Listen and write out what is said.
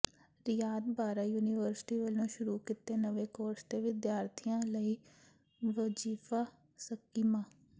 ਰਿਆਤ Bahra university ਵੱਲੋਂ ਸ਼ੁਰੂ ਕੀਤੇ ਨਵੇਂ ਕੋਰਸ ਤੇ ਵਿਦਿਆਰਥੀਆਂ ਲਈ ਵਜੀਫਾ ਸਕੀਮਾਂ